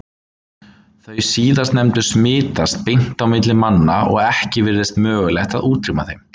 Þau síðastnefndu smitast beint á milli manna og ekki virðist mögulegt að útrýma þeim.